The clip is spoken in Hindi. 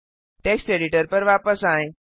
टेक्स्ट एडिटर पर वापस आएँ